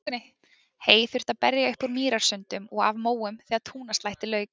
Hey þurfti að berja upp úr mýrasundum og af móum þegar túnaslætti lauk.